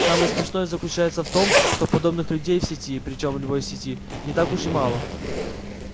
самое смешное заключается в том что подобных людей в сети причём в любой сети не так уж и мало